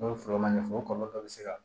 N'o ye foro ma ɲɛ foyi ye o kɔlɔlɔ dɔ bɛ se ka